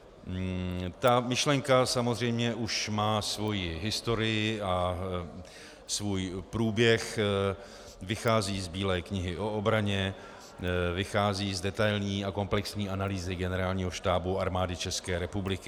Ta myšlenka samozřejmě už má svoji historii a svůj průběh, vychází z Bílé knihy o obraně, vychází z detailní a komplexní analýzy Generálního štábu Armády České republiky.